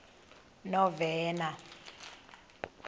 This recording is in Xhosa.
novena